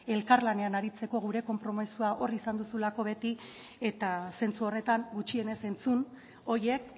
elkarlanean aritzeko gure konpromezua hor izan duzulako beti eta zentzu horretan gutxienez entzun horiek